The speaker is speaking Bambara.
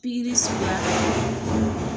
Pikiri suguya ka